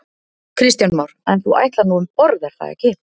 Kristján Már: En þú ætlar nú um borð er það ekki?